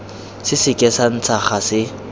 se seke sa ntsha gase